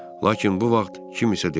Lakin bu vaxt kim isə dedi.